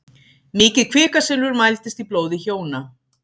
Mikið kvikasilfur mældist í blóði hjóna